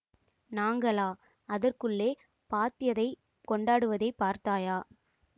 நாங்களா அதற்குள்ளே பாத்யதை கொண்டாடுவதைப் பார்த்தாயா